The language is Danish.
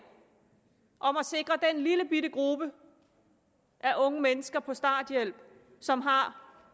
om at sikre at den lillebitte gruppe af unge mennesker på starthjælp som har